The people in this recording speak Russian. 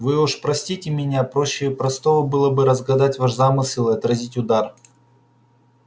вы уж простите меня проще простого было бы разгадать ваш замысел и отразить удар